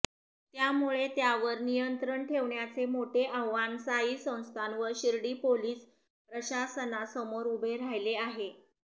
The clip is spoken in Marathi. त्यामुळे त्यावर नियंत्रण ठेवण्याचे मोठे आव्हान साई संस्थान व शिर्डी पोलीस प्रशासनासमोर उभे राहिले आहे